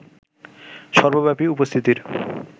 সর্বব্যাপী উপস্থিতির